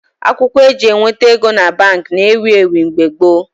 Akwụkwọ eji eweta ego na Baankị na ewu ewu mgbe gboo